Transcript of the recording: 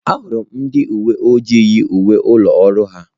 Ahụrụ m ndị uwe ojii yi uwe ụlọ ọrụ ha.